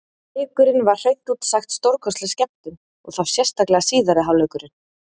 Leikurinn var hreint út sagt stórkostleg skemmtun, og þá sérstaklega síðari hálfleikurinn.